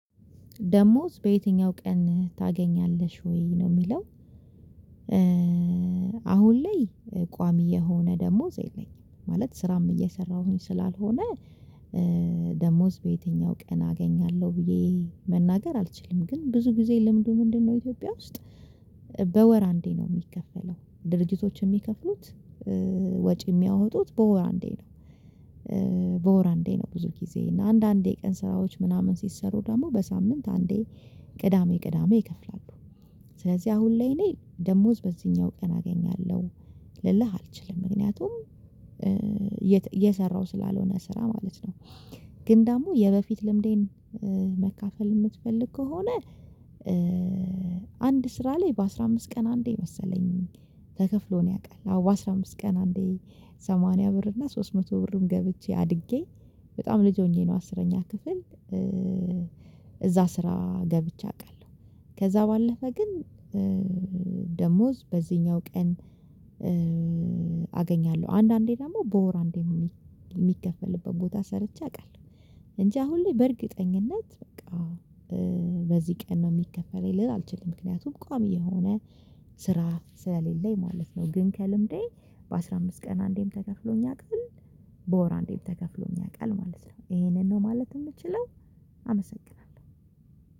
ደሞዝ በየትኛው ቀን ታገኛለሽ ወይ ነው የሚለው? አሁን ላይ ቋሚ የሆነ ደሞዝ የለኝም ማለት ስራም እየሰራሁኝ ስላልሆነ። ደሞዝ በየትኛው ቀን አገኛለሁ ብዬ መናገር አልችልም ግን ብዙ ጊዜ ለምዱ ምንድነው ኢትዮጵያ ውስጥ በወር አንዴ ነው የሚከፈለው። ድርጅቶች የሚከፍሉት ወጪ የሚያወጡት በወር አንዴ ነው። በወር አንዴ ነው ብዙ ጊዜ እና አንዳንዴ ቀን ስራዎች ምናምን ሲሰሩ ደግሞ በሳምንት አንዴ ቅዳሜ ቅዳሜ ይከፍላሉ። ስለዚህ አሁን ላይ እኔ ደሞዝ በዚህኛው ቀን አገኛለሁ ልልህ አልችልም ምክንያቱም እየሰራሁ ስላልሆነ ስራ ማለት ነው። ግን ደግሞ የበፊት ልምዴን መካፈል የምትፈልግ ከሆነ? አንድ ስራ ላይ በአስራ አምስት ቀን አንዴ መሰለኝ ተከፍሎን ያውቃል። አዎ በአስራ አምስት ቀን አንዴ ሰማንያ ብር እና ሶስት መቶ ብርም ገብቼ አድጌ በጣም ልጅ ሆኜ ነው አስረኛ ክፍል። እዛ ስራ ገብቼ አውቃለሁ። ከዛ ባለፈ ግን ደሞዝ በዚህኛው ቀን አገኛለሁ አንዳንዴ ደግሞ በወር አንዴ የሚከፈልበት ቦታ ሰርቼ አውቃለሁ። እንጂ አሁን ላይ በእርግጠኝነት በቃ በዚህ ቀን ነው የሚከፈለኝ ልል አልችልም ምክንያቱም ቋሚ የሆነ ስራ ስለሌለኝ ማለት ነው። ግን ከልምዴ በአሥራ አምስት ቀን አንዴም ተከፍሎኝ ያቃል በወር አንዴም ተከፍሎኝ ያውቃል ማለት ነው። ይሄንን ነው ማለት የምችለው። አመሰግናለሁ